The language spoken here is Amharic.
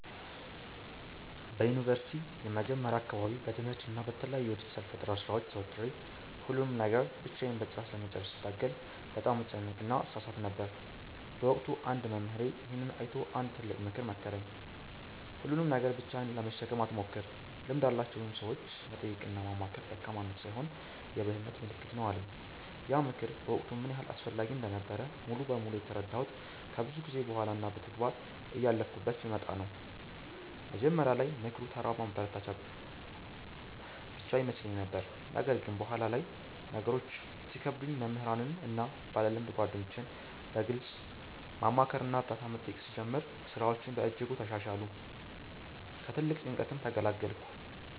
በዩኒቨርሲቲ መጀመሪያ አካባቢ በትምህርትና በተለያዩ የዲጂታል ፈጠራ ሥራዎች ተወጥሬ፣ ሁሉንም ነገር ብቻዬን በጥራት ለመጨረስ ስታገል በጣም እጨነቅና እሳሳት ነበር። በወቅቱ አንድ መምህሬ ይሄንን አይቶ አንድ ትልቅ ምክር መከረኝ፦ "ሁሉንም ነገር ብቻህን ለመሸከም አትሞክር፤ ልምድ ያላቸውን ሰዎች መጠየቅና ማማከር ደካማነት ሳይሆን የብልህነት ምልክት ነው" አለኝ። ያ ምክር በወቅቱ ምን ያህል አስፈላጊ እንደነበረ ሙሉ በሙሉ የተረዳሁት ከብዙ ጊዜ በኋላ እና በተግባር እያለፍኩበት ስመጣ ነው። መጀመሪያ ላይ ምክሩ ተራ ማበረታቻ ብቻ ይመስለኝ ነበር። ነገር ግን በኋላ ላይ ነገሮች ሲከብዱኝ መምህራንን እና ባለልምድ ጓደኞቼን በግልጽ ማማከርና እርዳታ መጠየቅ ስጀምር፣ ሥራዎቼ በእጅጉ ተሻሻሉ፤ ከትልቅ ጭንቀትም ተገላገልኩ።